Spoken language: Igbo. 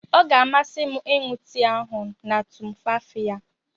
Ọ ga-amasị m ịṅụ tii ahụ na tumfafiya.